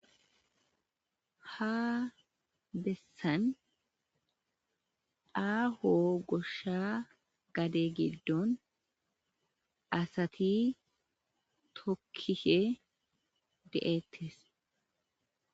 ha bessan aaho goshsha gade giddon asati tokkike de7ettes